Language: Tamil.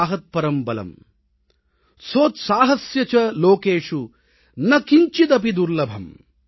सोत्साहस्य च लोकेषु न किंचिदपि दुर्लभम् ||